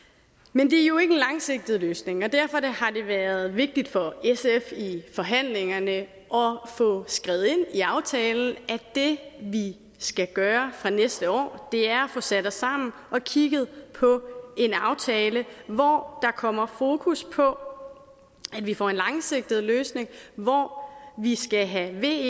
men det er jo ikke en langsigtet løsning og derfor har det været vigtigt for sf i forhandlingerne at få skrevet ind i aftalen at det vi skal gøre fra næste år er at få sat os sammen og kigget på en aftale hvor der kommer fokus på at vi får en langsigtet løsning hvor vi skal have ve